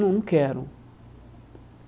Não, não quero.